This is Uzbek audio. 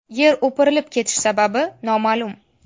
Yer o‘pirilib ketishi sababi noma’lum.